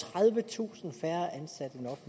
tredivetusind færre ansat